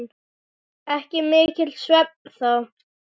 Ekki mikill svefn þá.